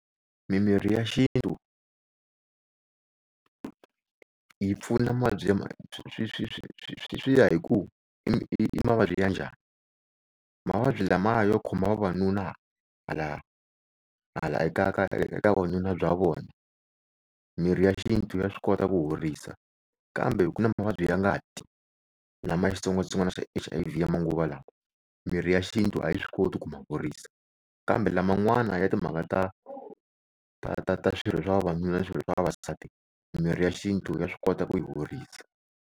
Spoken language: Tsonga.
Mimirhi ya xintu yi pfuna mavabyi ya swi ya hi ku i mavabyi ya njhani. Mavabyi lama yo khoma vavanuna hala hala eka ka eka vununa bya vona, mirhi ya xintu ya swi kota ku horisa. Kambe ku na mavabyi ya ngati lama xitsongwatsongwana xa H_I_V ya manguva lawa mirhi ya xintu a yi swi koti ku ma horisa. Kambe laman'wana ya timhaka ta ta ta ta swirho swa vavanuna na swirho swa vavasati mirhi ya xintu ya swi kota ku ya horisa.